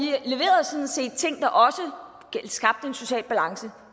set ting der også skabte en social balance